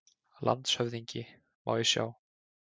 LANDSHÖFÐINGI: Má ég sjá?